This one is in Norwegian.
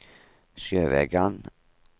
Sjøvegan